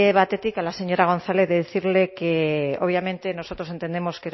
batetik a la señora gonzález decirle que obviamente nosotros entendemos